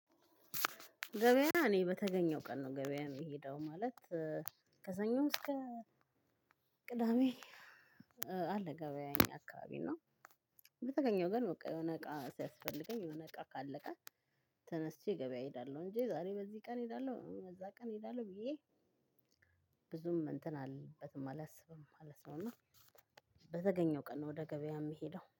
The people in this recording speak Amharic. ገበያ እኔ በተገኘው ቀን ነው ገበያ የምሄደው ማለት። ከሰኞ እስከ ቅዳሜ። አለ ገበያ እኛ አከባቢ ነው። በተገኘው ግን የሆነ እቃ ሲያስፈልገኝ እቃ ካለቀ ተነስቼ ገበያ እሄዳለሁ። እንጂ ዛሬ በዚህ ቀን እሄዳለሁ በዛ ቀን እሄዳለሁ ብየ ብዙም እንትን አለበትም አላስብም ማለት ነው። እና በተገኘው ቀን ነው ወደ ገበያ የምሄደው